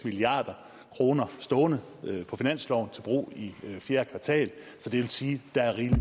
milliard kroner stående på finansloven til brug i fjerde kvartal så det vil sige at der er rig